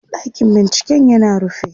ɗakin binciken yana rufe